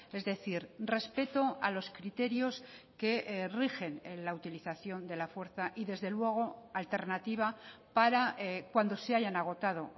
es decir respeto a los criterios que rigen en la utilización de la fuerza y desde luego alternativa para cuando se hayan agotado